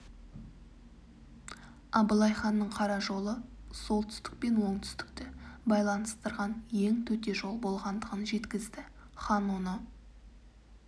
абылай ханның қара жолы солтүстік пен оңтүстікті байланыстырған ең төте жол болғандығын жеткізді хан оны